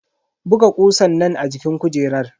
Buga kusan nan a jikin kujerar.